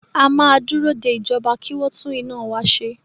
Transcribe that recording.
A máa dúró de ìjọba kí wọ tún iná wa ṣe.